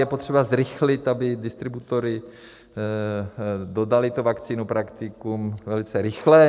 Je potřeba zrychlit, aby distributoři dodali tu vakcínu praktikům velice rychle.